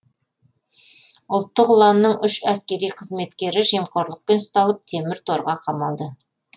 ұлттық ұланның үш әскери қызметкері жемқорлықпен ұсталып темір торға қамалды